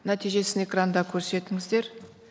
нәтижесін экранда көрсетіңіздер